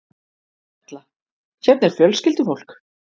Erla: Hérna er fjölskyldufólk?